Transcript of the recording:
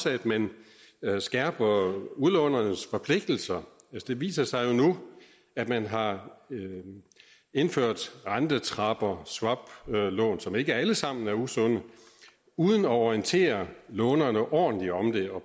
at man skærper udlånernes forpligtelser det viser sig nu at man har indført rentetrapper swap lån som ikke alle sammen er usunde uden at orientere lånerne ordentligt om det og